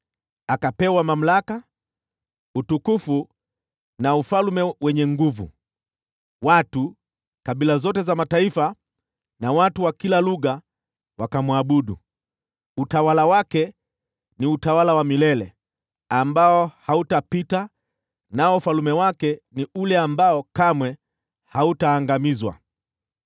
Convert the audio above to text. Akapewa mamlaka, utukufu na ufalme wenye nguvu; nao watu wa kabila zote, mataifa, na watu wa kila lugha wakamwabudu. Utawala wake ni utawala wa milele ambao hautapita, nao ufalme wake ni ule ambao kamwe hautaangamizwa.